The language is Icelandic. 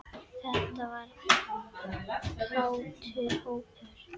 Þetta var kátur hópur.